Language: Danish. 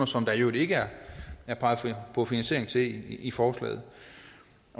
som der i øvrigt ikke er peget på finansiering til i forslaget